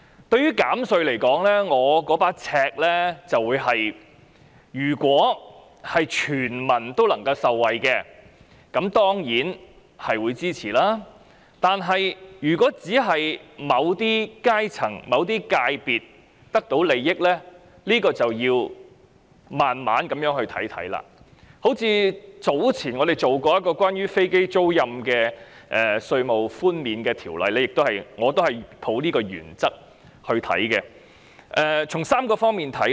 對於減稅，我所抱持的尺度是，如果全民能夠受惠，我當然會支持，但如果只是某些階層或界別得到利益，這便要慢慢審視，正如早前我們曾審議一項關於飛機租賃稅務寬免的法案，我亦抱持這個原則來審視。